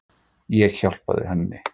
Ég hjálpaði henni.